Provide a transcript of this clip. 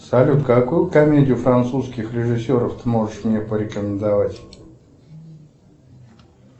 салют какую комедию французских режиссеров ты можешь мне порекомендовать